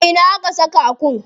A ina aka saka Akun?